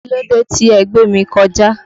Kílódé tí ẹ gbémi kọjà?